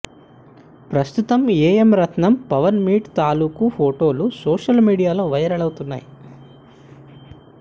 ప్రస్తుతం ఏఎం రత్నంతో పవన్ మీట్ తాలూకు ఫొటోలు సోషల్ మీడియాలో వైరల్ అవుతున్నాయి